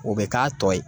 O bɛ k'a tɔ ye